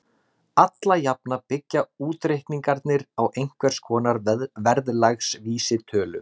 Alla jafna byggja útreikningarnir á einhvers konar verðlagsvísitölu.